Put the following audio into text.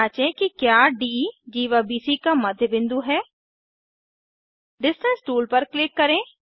जाँचें कि क्या डी जीवा बीसी का मद्द्य बिंदु है Distanceटूल पर क्लिक करें